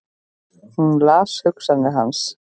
Hún las hugsanir hans!